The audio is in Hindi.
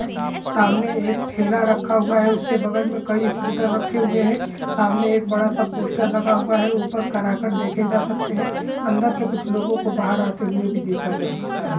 सामने एक ठेला रखा हुआ है उसके बगल मे कई स्कूटर रखे हुए हैँ सामने एक बड़ा सा पोस्टर लगा हुआ हैँ ऊपर कराकट देखे जा सकते हैँ अन्दर से कुछ लोगों को बाहर आते हुए भी देखा जा सकता हैँ।